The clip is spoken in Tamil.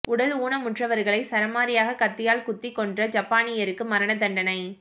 உடல் ஊனமுற்றவர்களைச் சரமாரியாகக் கத்தியால் குத்திக் கொன்ற ஜப்பானியருக்கு மரண தண்டனை